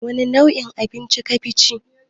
Wani nau'in abinci kafi ci?